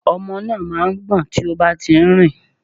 Ọmọ náà má a ń gbọ̀n tí ó bá ti nrìn